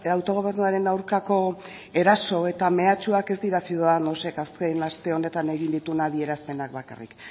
autogobernuaren aurkako eraso eta mehatxuak ez dira ciudadanosek azken aste honetan egin dituen adierazpenak bakarrik